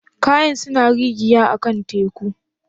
Kayan suna rigiya a'kan teku?